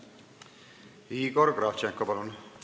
Igor Kravtšenko, palun!